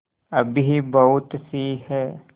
अभी बहुतसी हैं